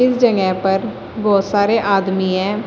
पर बहुत सारे आदमी है।